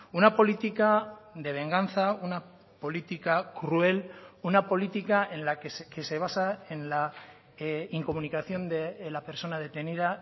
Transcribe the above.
una política de venganza una política cruel una política en la que se basa en la incomunicación de la persona detenida